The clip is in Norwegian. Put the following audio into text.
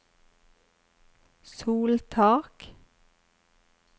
soltak